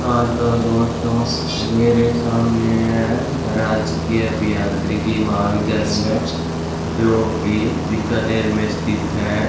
हां तो दोस्तों मेरे सामने है राजकीय अभियांत्रिकी महाविद्यालय जोकि बीकानेर में स्थित है।